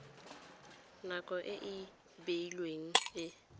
nako e e beilweng e